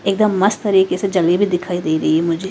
एकदम मस्त तरीके से जली भी दिखाई दे रही है मुझे।